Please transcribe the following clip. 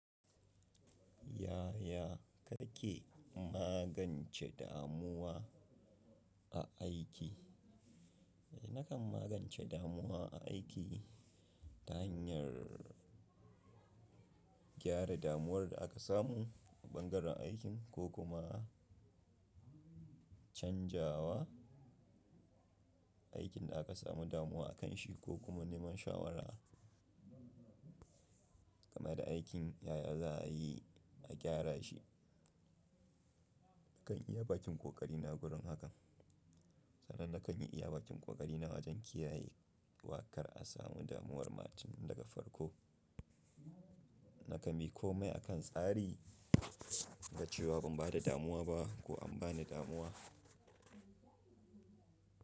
Yaya kake magance damuwa a aiki? Nakan magance damuwa a aiki ta hanyar gyara damuwar da aka samu a bangaren aikin ko kuma canjawa aikin da aka samu damuwa akanshi ko kuma neman shawara game da aikin yaya za a yi a gyara shi. Nakan iya bakin ƙoƙari na wurin hakan. Sanan nakan iya bakin ƙoƙari na wajen kiyaye wa kar a samu damuwar ma tun daga farko. Naka bi ƙomai akan tsari da cewa ban bada damuwa ba ko an bani damuwa.